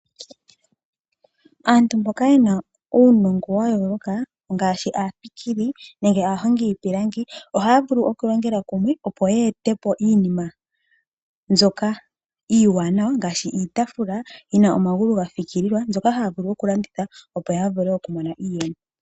Aantu mboka ye na uunongo wa yooloka ngaashi aafikili nenge aahongi yiipilangi, ohaya vulu okulongela kumwe opo yeete po iinima mbyoka iiwanawa ngaashi iitafula yi na omagulu ga fikililwa, mbyoka haya vulu okulanditha opo ya vule okumona iiyemo.